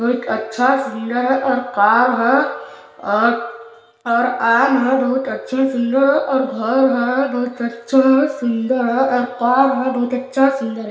एक अच्छा है सुंदर है कार है और और बहुत अच्छे सुन्दर और घर है बहुत अच्छा सुन्दर अर कार है बहुत अच्छा सुंदर--